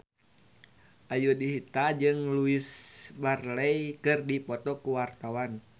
Ayudhita jeung Louise Brealey keur dipoto ku wartawan